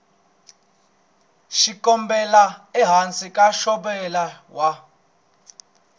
xikombelo ehansi ka ntshovelo wa